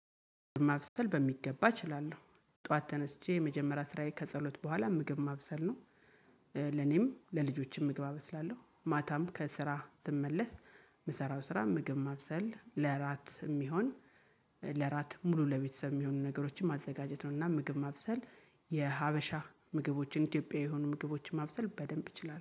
ማብሰል በሚገባ እችላለሁ ጠዋት ተነስቼ የመጀመሪያ ስራዬ ከጸሎት በኋላ ምግብ ማብሰል ነው። ለኔም ለልጆቼም ምግብ አበስላለሁ ማታም ከስራ ስመለስ የምሰራው ስራ ምግብ ማብሰል ለራት የሚሆን። ለራት ሙሉ ለቤተሰብ የሚሆኑ ነገሮችን ማዘጋጀትነው። እና ምግብ ማብሰል የሀበሻ ምግቦችን ኢትዮጵያዊ የሆኑ ምግቦችን ማብሰል በደንብ እችላለሁ